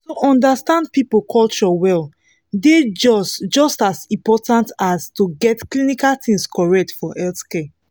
to understand people culture well dey just just as important as to get clinical things correct for healthcare